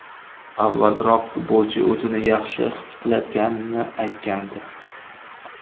Avvalroq futbolchi o‘zini yaxshi his qilayotganini aytgandi.